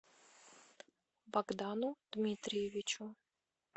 богдану дмитриевичу